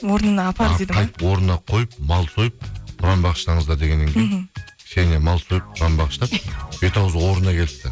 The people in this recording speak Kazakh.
орнына апар қайтып орнына қойып мал сойып құран бағыштаңыздар дегеннен мхм ксенияның мал сойып құран бағыштап бет ауызы орнына келіпті